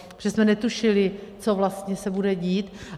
Protože jsme netušili, co vlastně se bude dít.